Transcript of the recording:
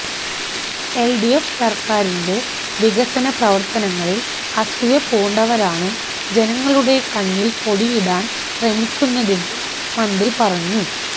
LDF സര്ക്കാരിന്റെ വികസന പ്രവര്ത്തനങ്ങളില് അസൂയപൂണ്ടവരാണ് ജനങ്ങളുടെ കണ്ണില് പൊടിയിടാന് ശ്രമിക്കുന്നതെന്നും മന്ത്രി പറഞ്ഞു